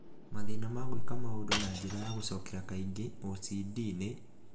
Mathĩna ma gwĩka maũndũ na njĩra ya gũcokera kaingĩ (OCD) nĩ